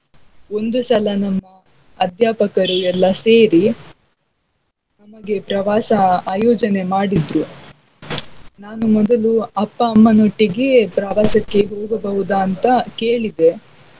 ಒಂದು ಸಲ ನಮ್ಮಅದ್ಯಾಪಕರು ಎಲ್ಲ ಸೇರಿ ನಮಗೆ ಪ್ರವಾಸ ಆಯೋಜನೆ ಮಾಡಿದ್ರು ನಾನು ಮೊದಲು ಅಪ್ಪ ಅಮ್ಮನೊಟ್ಟಿಗೆ ಪ್ರವಾಸಕ್ಕೆ ಹೋಗಬಹುದಾ ಅಂತಾ ಕೇಳಿದೆ.